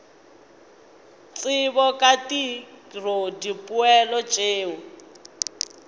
tsebo ka tiro dipoelo tšeo